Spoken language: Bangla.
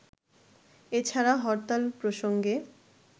এছাড়া হরতাল প্রসঙ্গে